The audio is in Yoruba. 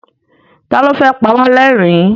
Ta ní ó fẹ́ pa wá lẹ́rìn-ín?